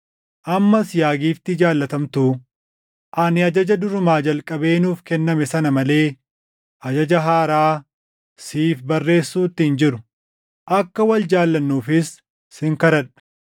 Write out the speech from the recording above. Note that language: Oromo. Ammas yaa giiftii jaallatamtuu, ani ajaja durumaa jalqabee nuuf kenname sana malee ajaja haaraa siif barreessuutti hin jiru. Akka wal jaallannuufis sin kadhadha.